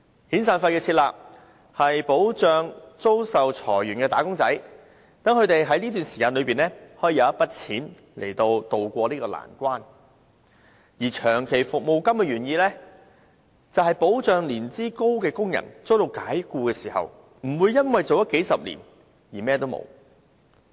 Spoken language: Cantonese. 遣散費的設立，是保障被裁員的"打工仔"，讓他們可以有一筆錢渡過難關，而長期服務金的原意，是保障年資高的工人遭解僱時，不會為同一僱主服務數十年後甚麼都沒有。